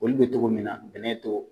Olu bɛ togo min na sɛnɛ t'o